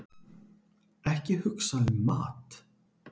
Ekki hugsa um mat!